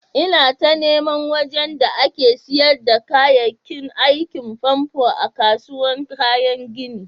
lna ta niman wajen da ake sayar da kayakin aikin famfo a'kasuwan kayan ginin.